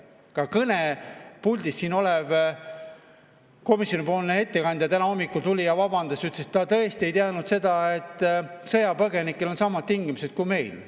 Ka kõnepuldis olev komisjoni ettekandja täna hommikul tuli ja vabandas ja ütles, et ta tõesti ei teadnud seda, et sõjapõgenikel on samad tingimused kui meil.